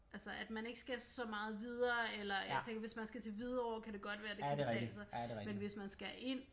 Altså at man ikke skal så meget videre eller jeg tænker hvis man skal til Hvidovre kan det godt være det kan betale sig men hvis man skal ind